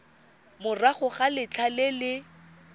morago ga letlha le le